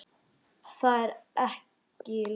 Þú ert ekki í lagi.